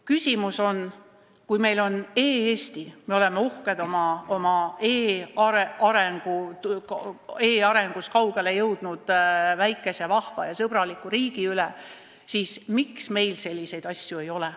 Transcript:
Küsimus on, et kui meil on e-Eesti – me oleme uhked e-arengus kaugele jõudnud väikese, vahva ja sõbraliku riigi üle –, siis miks meil selliseid asju ei ole.